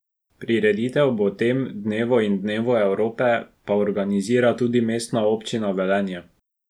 Prireditev ob tem dnevu in dnevu Evrope pa organizira tudi Mestna občina Velenje.